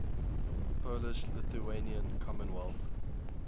polish lithuanian commonwealth